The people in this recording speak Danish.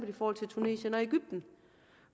i forhold til tunesien og egypten